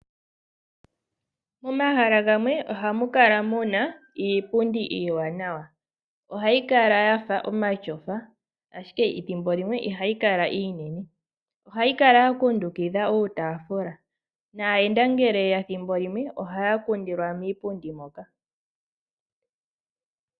Momahala gamwe ohamu kala mu na iipundi iiwanawa. Ohayi kala ya fa omatyofa ashike ethimbo limwe ohayi kala iinene. Ohayi kala ya kundukidha uutaafula naayenda ngele ye ya omo haya kundilwa moka.